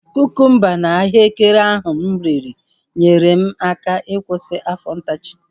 Kukumba na ahụekere ahu mụ riri nyere m aka ịkwụsị afọ ntachi